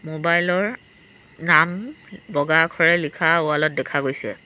মোবাইলৰ নাম বগা আখৰে লিখা ৱালত দেখা গৈছে।